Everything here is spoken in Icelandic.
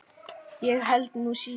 Ég held nú síður.